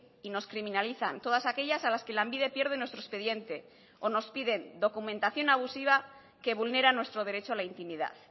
y nos criminalizan todas aquellas a las que lanbide pierde nuestro expediente o nos piden documentación abusiva que vulnera nuestro derecho a la intimidad